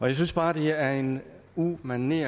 jeg synes bare det er en umanerlig